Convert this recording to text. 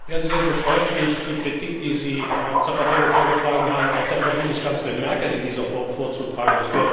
Wären Sie denn so freundlich, die Kritik, die Sie Herrn Zapatero vorgetragen haben, auch der Frau Bundeskanzlerin Merkel in dieser Form vorzutragen.